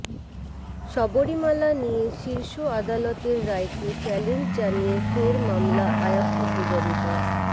শবরীমালা নিয়ে শীর্ষ আদালতের রায়কে চ্যালেঞ্জ জানিয়ে ফের মামলা আয়াপ্পা পূজারীদের